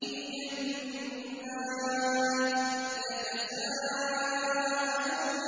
فِي جَنَّاتٍ يَتَسَاءَلُونَ